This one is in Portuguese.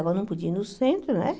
Agora eu não podia ir no centro, né?